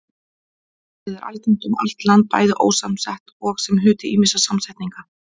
Orðið er algengt um allt land, bæði ósamsett og sem hluti ýmissa samsetninga.